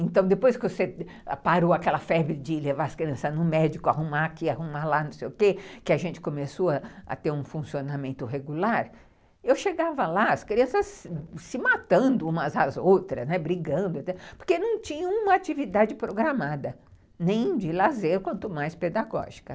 Então, depois que você parou aquela febre de levar as crianças no médico, arrumar aqui, arrumar lá, não sei o quê, que a gente começou a ter um funcionamento regular, eu chegava lá, as crianças se matando umas às outras, né, brigando, porque não tinham uma atividade programada, nem de lazer, quanto mais pedagógica.